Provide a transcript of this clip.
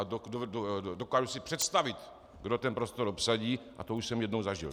A dokážu si představit, kdo ten prostor obsadí, a to už jsem jednou zažil.